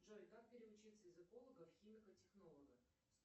джой как переучиться из эколога в химика технолога